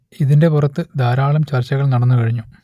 ഇതിന്റെ പുറത്ത് ധാരാളം ചർച്ച നടന്നു കഴിഞ്ഞു